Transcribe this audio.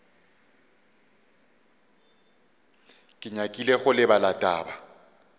ke nyakile go lebala taba